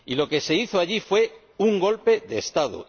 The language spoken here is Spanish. Y lo que se hizo allí fue un golpe de Estado.